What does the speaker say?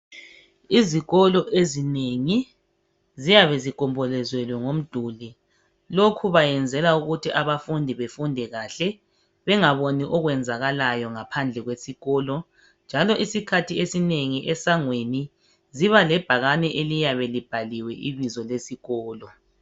Izikolo ezinengi ziyabe zigombolozelwe ngomduli. Lokho benzela ukuthi abafundi bafunde kahle, bengaboni lokho okwenzakalayo ngaphandle kwesikolo njalo isikhathi esinengi esangweni ziba lebhakani eliyabe libhaliwe ibizo lesikolo.